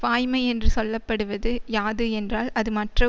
வாய்மை என்று சொல்ல படுவது யாது என்றால் அது மற்ற